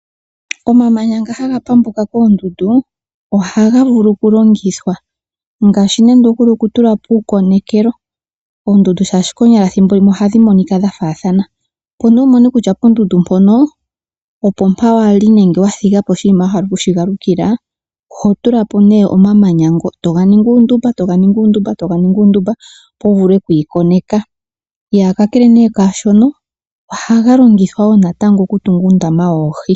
Omamanya nga haga pambuka koondundu ohaga vulu oku longithwa ngaashi nande oku tulapo uukonekelo ,oondundu konyala ethimbo limwe ohadhi monika dha faathana opo nee wumone kutya pondundu mpono opo mpoka wali nenge wathigaposha wahala oku shigalukila ohotulapo nee omamanya wega nika uundumba. Ohaga longithwa woo natango okutunga uundama woohi.